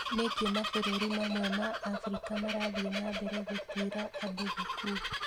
Nĩkĩ mabũrũri mamwe ma Afrika marathiĩ na mbere gũtwĩra andũ gĩkuũ?